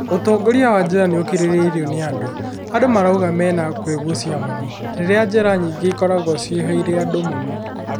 ũtongoria wa njera nĩ ũkiriirwo nĩ andũ. Andũ marauga mena kwĩgucia mũno. Rĩria njera nyingĩ ikoragwo ciiyũrĩte andũ mũno.